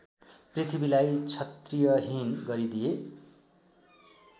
पृथ्वीलाई क्षत्रियहीन गरिदिए